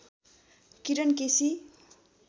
Kiran KC